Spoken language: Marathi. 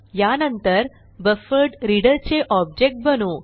यानंतर बफरड्रीडर चे ऑब्जेक्ट बनवू